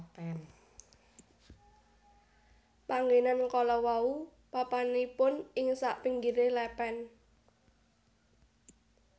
Panggénan kalawau papanipun ing sapinggiring lèpèn